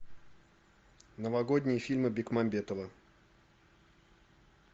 новогодние фильмы бекмамбетова